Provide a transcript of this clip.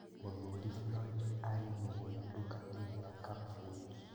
Mũthuri Flyod arĩ mũgũri nduka-inĩ ya Cup Foods